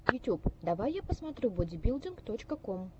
ютюб давай я посмотрю бодибилдинг точка ком